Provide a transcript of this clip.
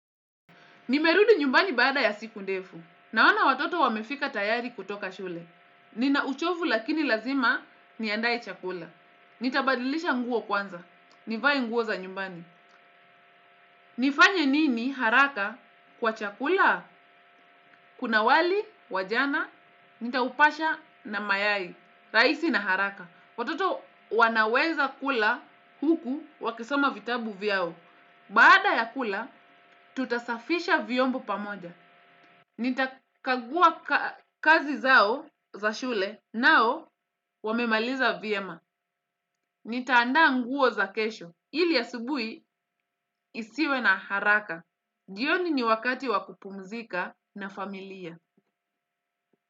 Nimerudi nyumbani baada ya siku ndefu. Naona watoto wamefika tayari kutoka shule. Ninauchovu lakini lazima niandae chakula. Nitabadilisha nguo kwanza. Nivae nguo za nyumbani. Nifanye nini haraka kwa chakula? Kuna wali, wa jana, nitaupasha na mayai. Raisi na haraka. Watoto wanaweza kula huku wakisoma vitabu vyao. Baada ya kula, tutasafisha vyombo pamoja. Nita kagua kazi zao za shule nao wamemaliza vyema. Nitaandaa nguo za kesho. Hili asubui isiwe na haraka. Jioni ni wakati wakupumzika na familia.